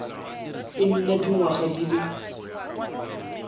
e nna dingwaga di le